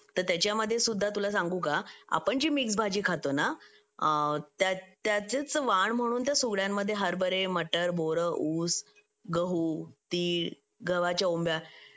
तर त्याच्यामध्ये सुद्धा तुला सांगू का आपण जी मिक्स भाजी खातो ना त्याचाच वाण म्हणून त्यास सुगड्यांमध्ये हरभरे मटार बोर ऊस गहू तीळ गावाच्या ओंब्या